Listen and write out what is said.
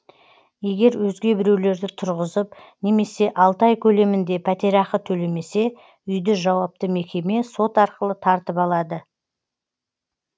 егер өзге біреулерді тұрғызып немесе алты ай көлемінде пәтерақы төлемесе үйді жауапты мекеме сот арқылы тартып алады